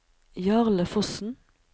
Jarle Fossen